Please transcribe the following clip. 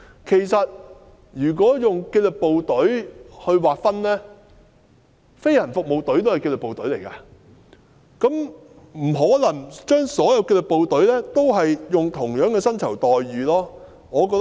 其實，以紀律部隊劃分，飛行服務隊也屬於紀律部隊，所以不可能將所有紀律部隊的薪酬待遇劃一。